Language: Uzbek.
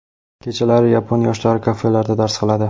Kechalari yapon yoshlari kafelarda dars qiladi.